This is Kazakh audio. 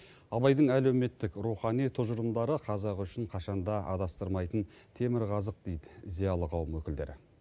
абайдың әлеуметтік рухани тұжырымдары қазақ үшін қашан да адастырмайтын темірқазық дейді зиялы қауым өкілдері